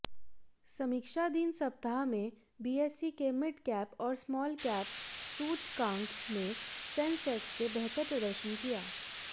समीक्षाधीन सप्ताह में बीएसई के मिडकैप और स्मॉलकैप सूचकांक ने सेंसेक्स से बेहतर प्रदर्शन किया